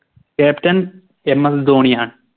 CaptainMS ധോണിയാണ്